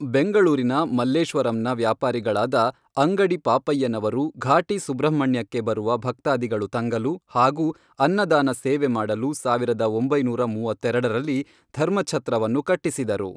ಬೆಂಗಳೂರಿನ ಮಲ್ಲೇಶ್ವರಂನ ವ್ಯಾಪಾರಿಗಳಾದ ಅಂಗಡಿ ಪಾಪಯ್ಯನವರು ಘಾಟಿ ಸುಬ್ರಹ್ಮಣ್ಯಕ್ಕೆ ಬರುವ ಭಕ್ತಾದಿಗಳು ತಂಗಲು ಹಾಗೂ ಅನ್ನದಾನ ಸೇವೆ ಮಾಡಲು ಸಾವಿರದ ಒಂಬೈನೂರ ಮೂವತ್ತೆರಡರಲ್ಲಿ ಧರ್ಮಛತ್ರವನ್ನು ಕಟ್ಟಿಸಿದರು